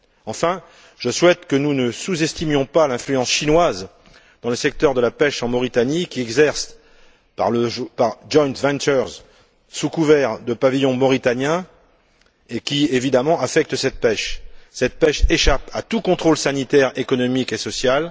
Enfin, je souhaite que nous ne sous estimions pas l'influence chinoise dans le secteur de la pêche en Mauritanie, qui s'exerce par le biais de joint ventures, sous couvert de pavillon mauritanien, et qui évidemment affecte cette pêche, laquelle échappe à tout contrôle sanitaire, économique et social.